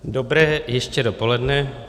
Dobré ještě dopoledne.